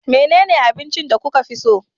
Menene abinci da kuka fi so?